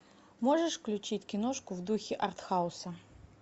можешь включить киношку в духе арт хауса